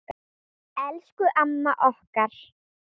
Elsku amman okkar.